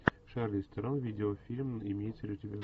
шарлиз терон видеофильм имеется ли у тебя